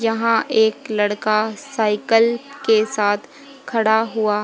यहां एक लड़का साइकिल के साथ खड़ा हुआ।